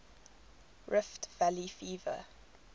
rift valley fever